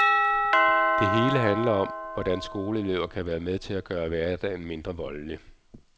Det hele handler om, hvordan skoleelever kan være med til at gøre hverdagen mindre voldelig.